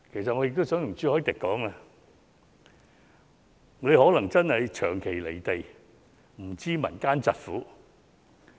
朱議員可能長期"離地"，他真的不知民間疾苦。